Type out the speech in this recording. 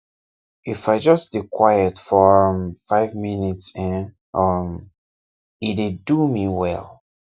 if ijustdey quiet for um five minutes[um][um] e dey do me well